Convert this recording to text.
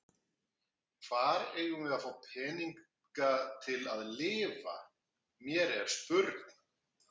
Hvar eigum við að fá peninga til að lifa, mér er spurn.